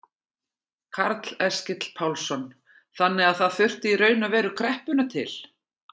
Karl Eskil Pálsson: Þannig að það þurfti í raun og veru kreppuna til?